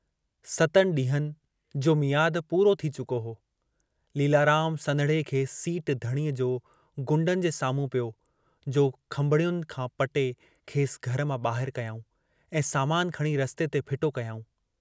सतनि डींहंनि जो मियादु पूरो थी चुको हो, लीलाराम सन्हड़े खे सीट धणी जो गुंडनि जे साम्हूं पियो जो खंभिड्युनि खां पटे खेसि घर मां बाहिर कयाऊं सामान खणी रस्ते ते फिटो कयाऊं।